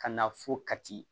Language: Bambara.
Ka na fo kati